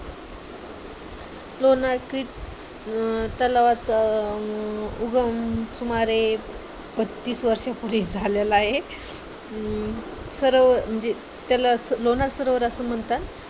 लोणार तलावाचा चा उगम सुमारे पस्तीस वर्षांपूर्वी झालेला आहे तर त्याला लोणार सरोवर असं म्हणतात.